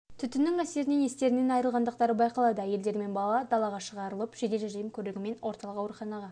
түтіннің әсерінен естерінен айырылғандықтары байқалды әйелдер мен бала далаға шығарылып жедел жәрдем көлігімен орталық ауруханаға